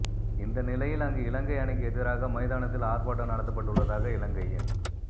இந்தநிலையில் அங்கு இலங்கை அணிக்கு எதிராக மைதானத்தில் ஆர்ப்பாட்டம் நடத்தப்பட்டுள்ளதாக இலங்கையின்